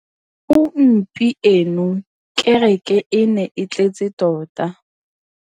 Gompieno kêrêkê e ne e tletse tota.